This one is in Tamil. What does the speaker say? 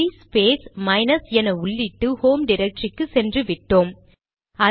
சிடி ஸ்பேஸ் மைனஸ் என உள்ளிட்டு ஹோம் டிரக்டரிக்கு சென்று விட்டோம்